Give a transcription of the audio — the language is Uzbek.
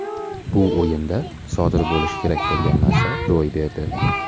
Bu o‘yinda sodir bo‘lishi kerak bo‘lgan narsa ro‘y berdi.